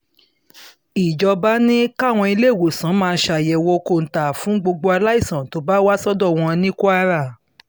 ìjọba ni káwọn ìléwòsàn máa ṣàyẹ̀wò kóńtà fún gbogbo aláìsàn tó bá wá sọ́dọ̀ wọn ní kwara